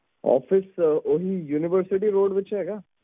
office ਓਹੀ universityroad ਵਿਚ ਹੈਗਾ